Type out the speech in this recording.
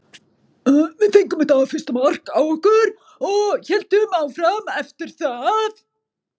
Við fengum þetta fyrsta mark á okkur og héldum áfram eftir það.